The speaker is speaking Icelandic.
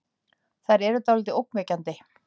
Þær eru dáldið ógnvekjandi.